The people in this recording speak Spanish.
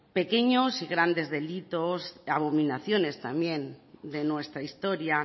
pequeños y grandes delitos abominaciones también de nuestra historia